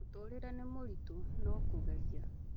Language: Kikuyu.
Mũtũrĩre nĩ mũritũ, no kũgeria